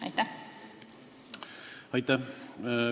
Aitäh!